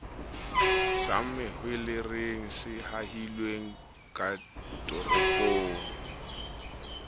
sa mahwelereng se ahilweng katoropong